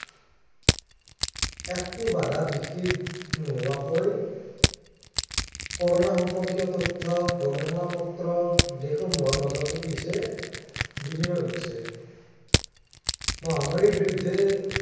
একো বাধা বিঘিনি নোহোৱাকৈ কৰোনা সম্পৰ্কীয় তথ্য গৱেষণা পত্ৰ, দেশসমূহৰ মাজত কি হৈছে বিনিময় ঘটিছে মহামাৰীৰ বিৰুদ্ধে